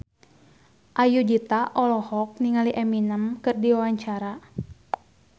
Ayudhita olohok ningali Eminem keur diwawancara